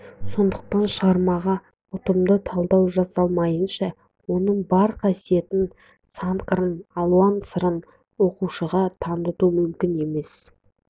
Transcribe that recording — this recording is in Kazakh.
сондықтан шығармаға ұтымды талдау жасалмайынша оның бар қасиетін санқырын алуан сырын оқушыға таныту мүмкін емес